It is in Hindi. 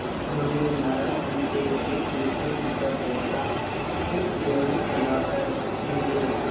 उन्होंने नाराज़गी से एक दूसरे की तरफ़ देखा फिर त्योरी चढ़ाकर मुझे देखा